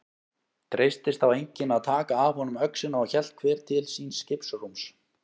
Treystist þá enginn að taka af honum öxina og hélt hver til síns skipsrúms.